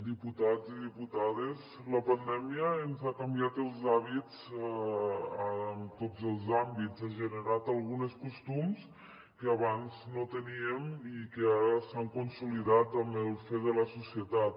diputats i diputades la pandèmia ens ha canviat els hàbits en tots els àmbits ha generat alguns costums que abans no teníem i que ara s’han consolidat amb el fer de la societat